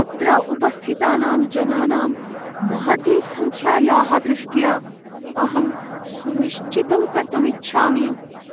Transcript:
अत्र उपस्थितानां जनानां महती सङ्ख्यायाः दृष्ट्या, अहं सुनिश्चितं कर्तुम् इच्छामि